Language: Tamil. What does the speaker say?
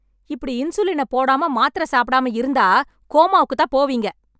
இப்டி இன்சுலினை போடாம, மாத்திரை சாப்பிடாம இருந்தா, கோமாக்குதான் போவீங்க.